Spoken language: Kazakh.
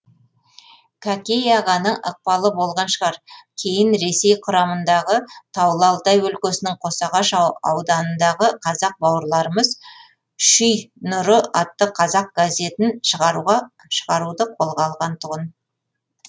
кәкей ағаның ықпалы болған шығар кейін ресей құрамындағы таулы алтай өлкесінің қосағаш ауданындағы қазақ бауырларымыз шүй нұры атты қазақ газетін шығаруды қолға алған тұғын